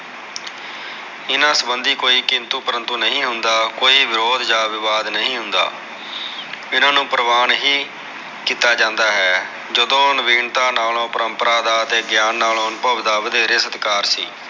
ਇਹਨਾ ਸਬਧੀ ਕੋਈ ਕਿੰਤੂ ਪਰੰਤੂ ਨਹੀ ਹੁੰਦਾ ਕੋਈ ਵਿਰੋਦ ਜਾ ਵਿਵਾਦ ਨਹੀ ਹੁੰਦਾ ਇਹਨਾ ਨੂ ਪਰਵਾਨ ਨਹੀ ਕੀਤਾ ਜਾਂਦਾ ਹੈ ਜਦੋ ਨਵੀਨਤਾ ਨਾਲੋ ਪਰੰਪਰਾ ਦਾ ਗਿਆਨ ਨਾਲੋ ਅਨੁਭਵ ਦਾ ਵਧੇਰੇ ਸਤਿਕਾਰ ਸੀ